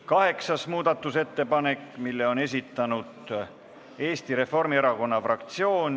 Kaheksas muudatusettepanek, mille on esitanud Eesti Reformierakonna fraktsioon.